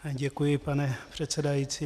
Děkuji, pane předsedající.